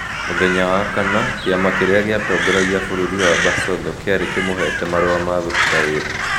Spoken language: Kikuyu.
Mũthenya wa kana, kĩama kĩrĩa gĩatongoragia bũrũri wa Basotho kĩarĩ kĩmũheete marũa ma gũtiga wĩra.